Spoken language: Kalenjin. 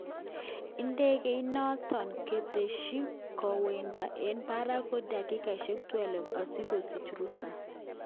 Indegeit noton, koteshi, kowendot eng barak dakikoshek 12 osikosich rusa.